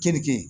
Keninke